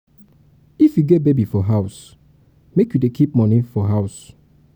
if you get baby for house make you dey keep moni for house.